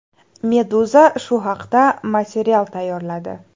Meduza shu haqda material tayyorladi .